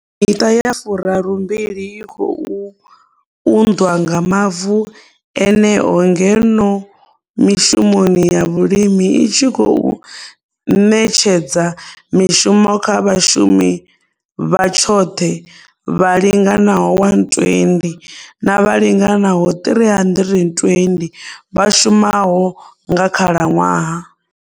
Miṱa ya furarumbili i khou unḓwa nga mavu eneo ngeno mishumoni ya vhulimi i tshi khou ṋetshedza mishumo kha vhashumi vha tshoṱhe vha linganaho 120 na vha linganaho 320 vha shumaho nga khalaṅwaha.